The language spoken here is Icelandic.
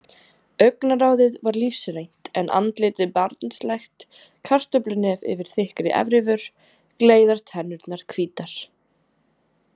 Augnaráðið var lífsreynt en andlitið barnslegt, kartöflunef yfir þykkri efrivör, gleiðar tennurnar hvítar.